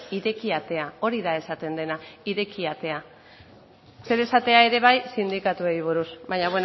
ireki atea hori da esaten dena ireki atea zer esatea ere bai sindikatuei buruz baina